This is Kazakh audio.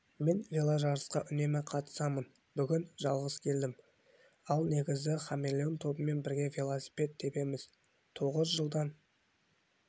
мен веложарыстарға үнемі қатысамын бүгін жалғыз келдім ал негізі хамелеон тобымен бірге велосипед тебеміз тоғыз жылдан